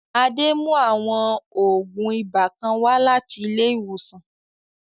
Adé mú àwọn ògùn ibà kan wá láti ilé ìwòsàn